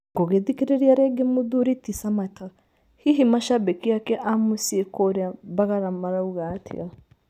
Ndũngĩthikĩrĩria rĩngĩ mũthuri ti Samatta: hihi mashabĩki ake a mũciĩ kũũrĩa Mbagala marauga atia?